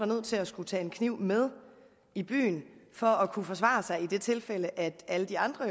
nødt til at skulle tage en kniv med i byen for at kunne forsvare sig i det tilfælde at alle de andre